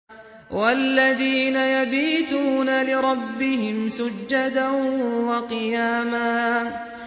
وَالَّذِينَ يَبِيتُونَ لِرَبِّهِمْ سُجَّدًا وَقِيَامًا